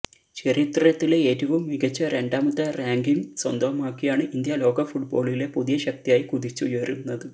ചരിത്രത്തിലെ ഏറ്റവും മികച്ച രണ്ടാമത്തെ റാങ്കിംഗ് സ്വന്തമാക്കിയാണ് ഇന്ത്യ ലോകഫുട്ബോളിലെ പുതിയ ശക്തിയായി കുതിച്ചുയരുന്നത്